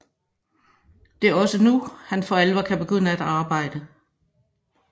Det er også nu han for alvor kan begynde at arbejde